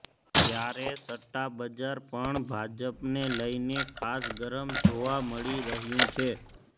ત્યારે સટ્ટાબજાર પણ ભાજપને લઇને ખાસ ગરમ જોવા મળી રહ્યું છે